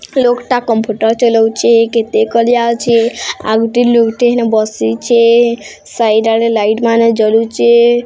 ଲୋକ ଟା କମ୍ପୁଟର ଚଲଉଛି କେତେ ଅଛେ ଆଉ ଗୁଟେ ଲୁକ ଟେ ହେନେ ବସିଛେ ସାଇଡ଼ ଆଳେ ଲାଇଟି ମାନେ ଜଲୁଛେ।